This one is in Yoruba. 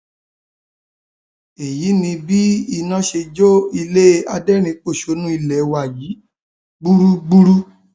èyí ni bí iná ṣe jó ilé aderinínpọṣónú ilé wa yìí gbúgbúrú